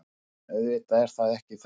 En auðvitað er það ekki þannig